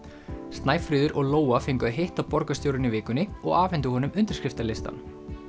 Snæfríður og Lóa fengu að hitta borgarstjórann í vikunni og afhentu honum undirskriftalistann